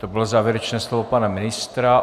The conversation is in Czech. To bylo závěrečné slovo pana ministra.